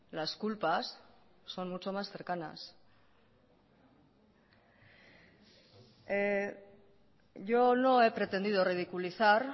las culpas son mucho más cercanas yo no he pretendido ridiculizar